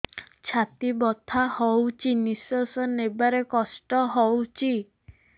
ଛାତି ବଥା ହଉଚି ନିଶ୍ୱାସ ନେବାରେ କଷ୍ଟ ହଉଚି